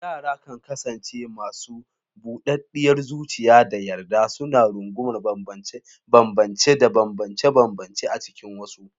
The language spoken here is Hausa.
Yara kan kasance masu budaddiyar zuciya da yarda, suna rungumar bambance-bambance da banbance-banbance a cikin wasu.